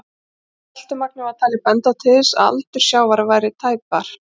Seltumagnið var talið benda til þess að aldur sjávar væri tæpar